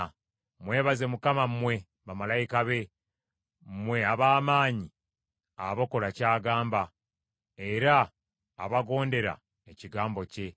Mwebaze Mukama mmwe bamalayika be, mmwe ab’amaanyi abakola ky’agamba, era abagondera ekigambo kye.